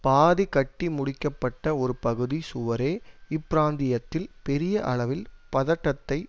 பாதி கட்டிமுடிக்கப்பட்ட ஒரு பகுதி சுவரே இப்பிராந்தியத்தில் பெரிய அளவில் பதட்டத்தை